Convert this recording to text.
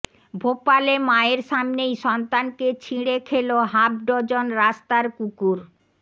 ভোপালে মায়ের সামনেই সন্তানকে ছিঁড়ে খেল হাফ ডজন রাস্তার কুকুর